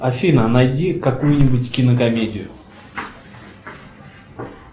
афина найди какую нибудь кинокомедию